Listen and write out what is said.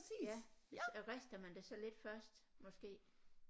Ja så rister man det så lidt først måske